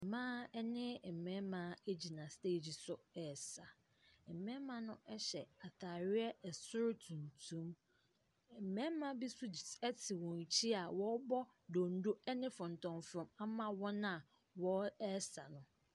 Mmaa ɛne mmɛɛma ɛgyina steegyi so ɛɛsa. Mmɛɛma no ɛhyɛ ataareɛ ɛsoro tuntum. Mmɛɛma bi nso ɛte wɔn akyi a wɔɔbɔ dondon ɛne fɔntɔmfrɔm ama wɔn a wɔn ɛɛsa no.